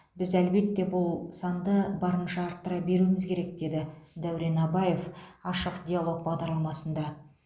біз әлбетте бұл санды барынша арттыра беруіміз керек деді дәурен абаев ашық диалог бағдарламасында